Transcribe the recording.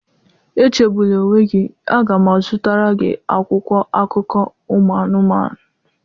Echegbula onwe gị, a ga m azụtara gị akwụkwọ akụkọ ụmụ anụmanụ.